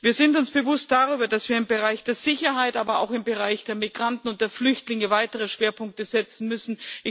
Wir sind uns dessen bewusst, dass wir im Bereich der Sicherheit, aber auch im Bereich der Migranten und der Flüchtlinge weitere Schwerpunkte setzen müssen.